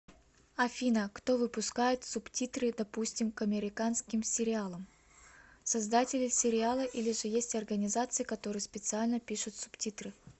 афина кто выпускает субтитры допустим к американским сериалам создатели сериала или же есть организации которые специально пишут субтитры